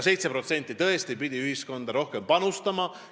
7% pidi tõesti ühiskonda rohkem panustama.